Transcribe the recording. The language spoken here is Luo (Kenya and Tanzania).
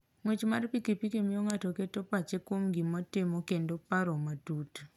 Ng'wech mar pikipiki miyo ng'ato keto pache kuom gima otimo kendo paro matut.